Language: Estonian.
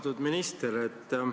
Austatud minister!